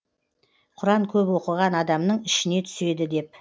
құран көп оқыған адамның ішіне түседі деп